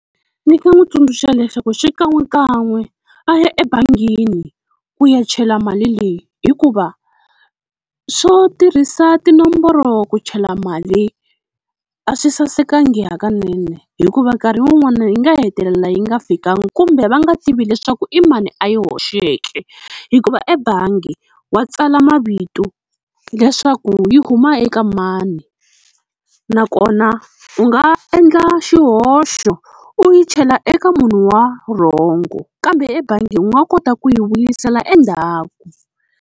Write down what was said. Ni nga n'wi tsundzuxa leswaku xikan'wekan'we a ya ebangini ku ya chela mali leyi, hikuva swo tirhisa tinomboro ku chela mali a swi sasekanga hakanene, hikuva nkarhi wun'wana yi nga hetelela yi nga fikangi kumbe va nga tivi leswaku i mani a yi hoxeke hikuva ebangi wa tsala mavito leswaku yi huma eka mani. Nakona u nga endla xihoxo u yi chela eka munhu wa wrong kambe ebangi u nga kota ku yi vuyisela endzhaku.